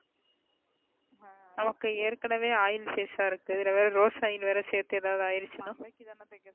நமக்கு ஏற்கனவே oil face அஹ வேற இருக்கு இதுல வேற rose oil வேற செத்து எதாவது ஐருச்சுன.